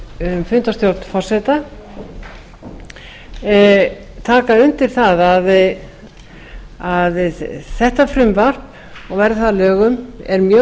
um fundarstjórn forseta taka undir það að þetta frumvarp verði það að lögum er mjög